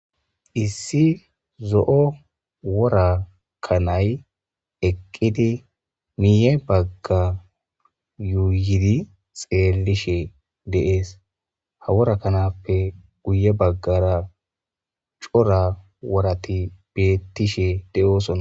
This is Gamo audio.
issi zo7o wora kanay eqqidi miiye bagga yuuyidi xeelishe deees ha wora kanappe guye baggara cora worati beettishe deyoosoa